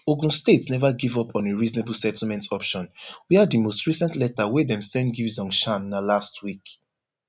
ogun state neva give up on a reasonable settlement option wia di most recent letter wey dem send give zhongshan na last week